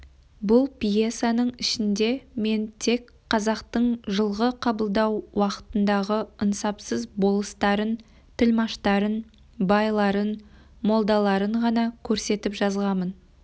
бұл пьесаның ішінде мен тек қазақтың жылғы қабылдау уақытындағы ынсапсыз болыстарын тілмаштарын байларын молдаларын ғана көрсетіп жазғамын